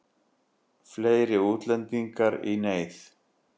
Fleiri útlendingar í neyð